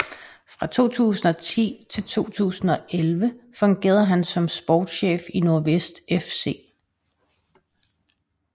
Fra 2010 til 2011 fungerede han som sportschef i Nordvest FC